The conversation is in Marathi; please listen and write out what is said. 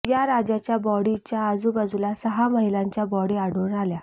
या राजाच्या बॉडीच्या आजूबाजूला सहा महिलांच्या बॉडी आढळून आल्या